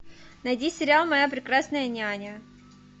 найди сериал моя прекрасная няня